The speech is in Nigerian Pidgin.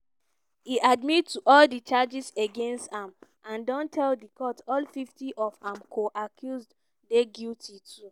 e admit to all di charges against am and don tell di court all 50 of im co-accused dey guilty too.